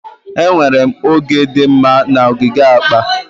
Enwere m oge dị mma na ogige akpa.